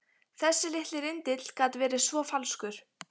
Þessi litli rindill gat verið svo falskur.